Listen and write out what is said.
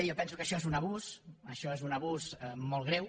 jo penso que això és un abús això és un abús molt greu